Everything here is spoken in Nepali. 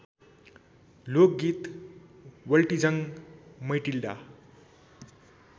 लोकगीत वल्ट्जिङ मैटिल्डा